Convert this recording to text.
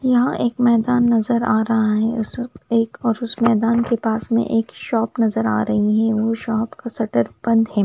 यहाँ एक मैदान नजर आ रहा है उस एक और उस मैदान के पास में एक शॉप नजर आ रही है और शॉप का सटर बंद है।